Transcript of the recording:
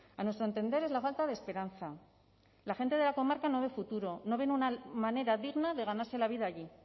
a nuestro entender es la falta de esperanza la gente de la comarca no de futuro no ve una manera digna de ganarse la vida allí